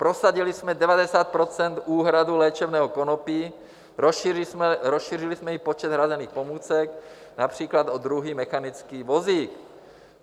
Prosadili jsme 90 % úhrady léčebného konopí, rozšířili jsme i počet hrazených pomůcek, například o druhý mechanický vozík.